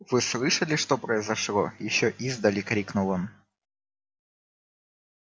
вы слышали что произошло ещё издали крикнул он